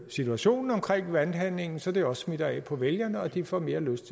situationen omkring valghandlingen så det også smitter af på vælgerne og de får mere lyst